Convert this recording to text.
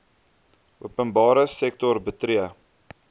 openbare sektor betree